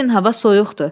Bu gün hava soyuqdur.